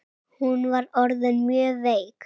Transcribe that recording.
Hún var orðin mjög veik.